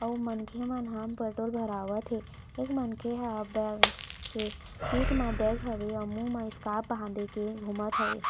अउ मनखे मन ह पेट्रोल भरावत हे एक मनखे ह बैग के पीठ म बैग हवे अउ मुँह मे स्काप बांध के घुमत हवे।